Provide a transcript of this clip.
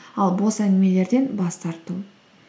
ал бос әңгімелерден бас тарту